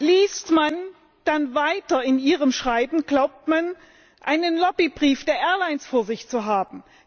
Liest man dann in Ihrem Schreiben weiter, glaubt man, einen Lobbybrief der Airlines vor sich zu haben.